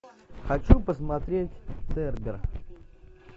хочу посмотреть цербер